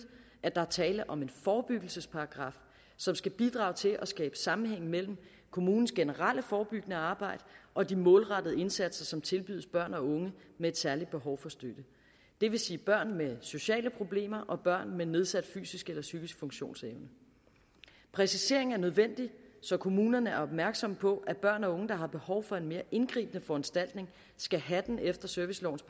at der er tale om en forebyggelsesparagraf som skal bidrage til at skabe sammenhæng mellem kommunens generelle forebyggende arbejde og de målrettede indsatser som tilbydes børn og unge med et særligt behov for støtte det vil sige børn med sociale problemer og børn med nedsat fysisk eller psykisk funktionsevne præcisering er nødvendig så kommunerne er opmærksomme på at børn og unge der har behov for en mere indgribende foranstaltning skal have den efter servicelovens